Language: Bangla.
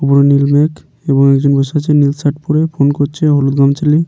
ওপরে নীল মেঘ এবং একজন বসে আছে নীল শার্ট পরে ফোন করছে হলুদ গামছা লিয়ে।